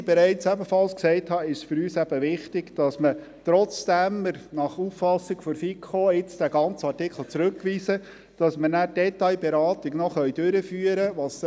Wie ich ebenfalls bereits erwähnt habe, ist es für uns gleichzeitig wichtig, dass wir, obschon wir den ganzen Artikel jetzt zurückweisen, die Detailberatung trotzdem noch durchführen können.